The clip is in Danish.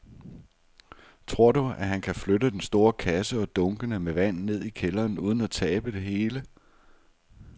Tror du, at han kan flytte den store kasse og dunkene med vand ned i kælderen uden at tabe det hele?